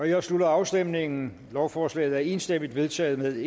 jeg slutter afstemningen lovforslaget er enstemmigt vedtaget med